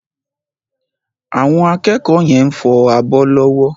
Àwọn akẹ́kọ̀ọ́ yẹn fọ abọ́ lọ́wọ́.